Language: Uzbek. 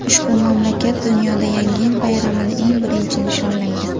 Ushbu mamlakat dunyoda Yangi yil bayramini eng birinchi nishonlaydi.